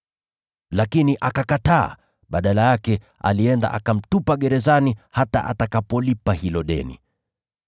“Lakini akakataa. Badala yake, alienda akamtupa gerezani hata atakapolipa hilo deni.